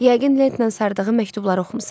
Yəqin lentlə sardığı məktubları oxumusan.